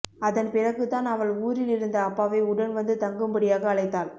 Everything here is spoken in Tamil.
அதன்பிறகு தான் அவள் ஊரிலிருந்த அப்பாவை உடன் வந்து தங்கும்படியாக அழைத்தாள்